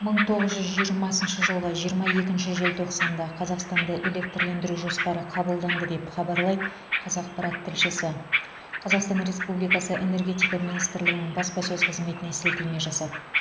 мың тоғыз жүз жиырмасыншы жылғы жиырма екінші желтоқсанда қазақстанды электрлендіру жоспары қабылданды деп хабарлайды қазақпарат тілшісі қазақстан республикасы энергетика министрлігінің баспасөз қызметіне сілтеме жасап